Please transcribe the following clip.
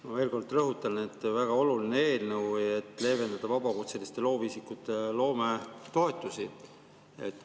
Ma veel kord rõhutan, et see on väga oluline eelnõu, et leevendada vabakutseliste loovisikute loometoetuste.